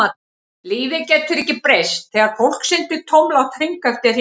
Lífið getur ekki breyst þegar fólk syndir tómlátt hring eftir hring.